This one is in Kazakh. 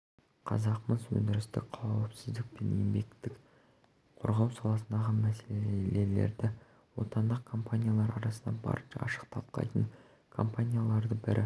қазақмыс өндірістік қауіпсіздік пен еңбекті қорғау саласындағы мәселелерді отандық компаниялар арасында барынша ашық талқылайтын компаниялардың бірі